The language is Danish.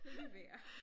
Lad lige være